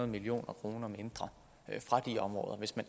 mio kroner mindre fra de områder hvis man